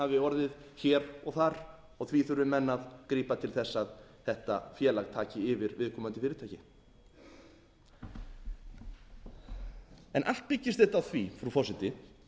orðið hér og þar og því þurfi menn að grípa til þess að þetta félag taki yfir viðkomandi fyrirtæki allt byggist þetta á því frú forseti